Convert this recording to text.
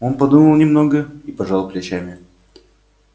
он подумал немного и пожал плечами